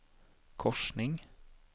korsning